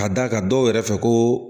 Ka d'a kan dɔw yɛrɛ fɛ ko